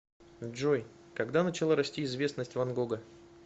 джой когда начала расти известность ван гога